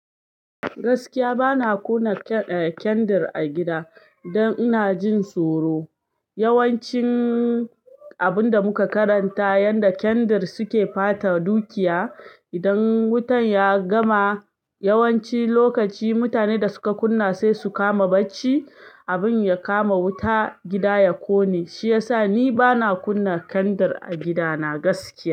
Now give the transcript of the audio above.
Gaskiya bana kunna kendir a gida don ina jin tsoro. Yawancin abun da muka karanta yanda kendir suke pata dukiya idan wutan ya gama. Yawanci lokaci mutanen da suka kunna sai su kama bacci abin ya kama wuta gida ya ƙone. Shi ya sa ni bana kunna kendir a gidana gaskiya.